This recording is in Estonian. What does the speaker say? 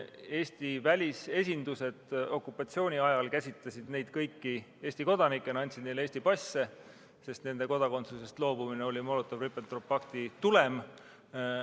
Eesti välisesindused käsitasid neid kõik okupatsiooni ajal Eesti kodanikena, andsid neile välismaal Eesti passe, sest nende kodakondsusest loobumine oli Molotovi-Ribbentropi pakti tulem.